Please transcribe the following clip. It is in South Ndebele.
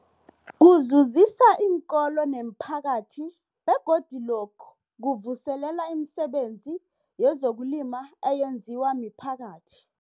Kuzuzisa iinkolo nemiphakathi begodu lokhu kuvuselela imisebenzi yezokulima eyenziwa miphakathi.